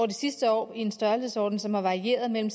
de sidste år i en størrelsesorden som har varieret mellem